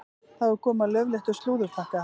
Þá er komið að laufléttum slúðurpakka.